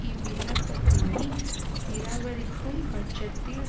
இவ்விண்ணப்பத்தினை நிராகரிக்கும் பட்சத்தில்